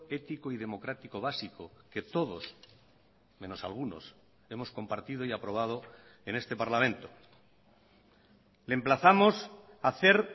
ético y democrático básico que todos menos algunos hemos compartido y aprobado en este parlamento le emplazamos a hacer